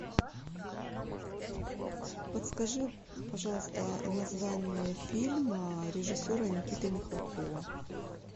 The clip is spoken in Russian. подскажи пожалуйста название фильма режиссера никиты михалкова